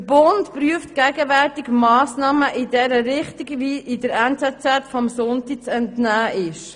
Der Bund prüft gegenwärtig Massnahmen in diese Richtung, wie der «NZZ am Sonntag» zu entnehmen ist.